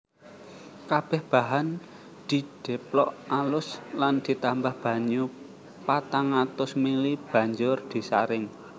Kabeh bahan didheplok alus lan ditambah banyu patang atus ml banjur disaring